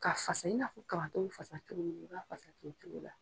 Ka fasa i n'a fɔ kabato bɛ fasa cogo min na i b'a fasa ten cogo la.